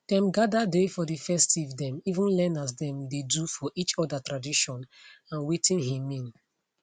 dem gather dey for the festivethem even learn as dem dey do for each other tradition and watin he mean